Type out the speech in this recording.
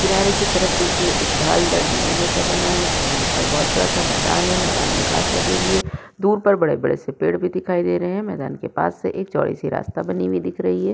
किनारे की तरफ देखिए एक ढालदार जीना जैसा बना है और यहाँ पर बहौत बड़ा सा मैंदान है मैंदान में घास लगी हुई है दूर पर बड़े-बड़े से पेड़ भी दिखाई दे रहे हैं मैंदान के पास से एक चौड़ी सी रास्ता बनी हुई दिख रही है।